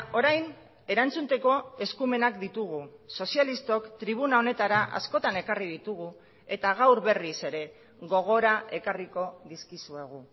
orain erantzuteko eskumenak ditugu sozialistok tribuna honetara askotan ekarri ditugu eta gaur berriz ere gogora ekarriko dizkizuegu